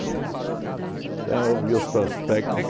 Então, eu vi os prospectos,